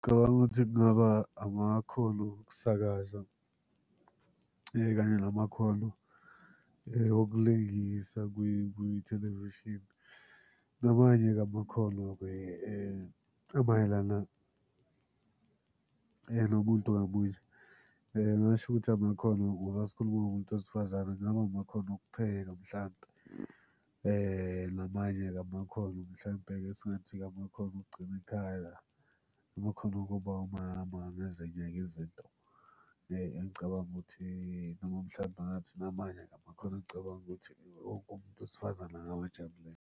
Ngicabanga ukuthi kungaba amakhono okusakaza kanye namakhono okulingisa kwithelevishini. Namanye-ke amakhono-ke amayelana nomuntu ngamunye. Ngingasho ukuthi amakhono ngoba sikhuluma ngomuntu wesifazane, kungaba amakhono okupheka mhlampe namanye-ke amakhono mhlampe esingathi-ke amakhono okugcina ikhaya. Amakhono okuba umama nezinye-ke izinto engicabanga ukuthi noma mhlawumbe ngathi namanye amakhono engicabanga ukuthi umuntu wesifazane angawajabulela.